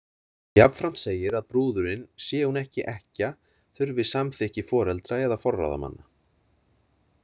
Jafnframt segir að brúðurin, sé hún ekki ekkja, þurfi samþykki foreldra eða forráðamanna.